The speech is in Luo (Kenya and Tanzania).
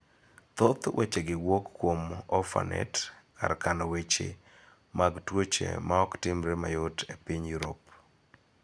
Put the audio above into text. Thoth weche gi wuok kuom Orphanet, kar kano weche mag tuoche ma ok timre mayot e piny Yurop.